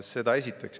Seda esiteks.